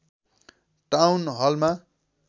town Halma